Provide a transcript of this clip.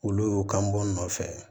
Olu y'o kanbɔ nɔfɛ